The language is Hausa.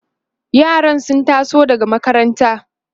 yaran sun taso daga makaranta